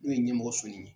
N'o ye ɲɛmɔgɔ sɔsɔ ni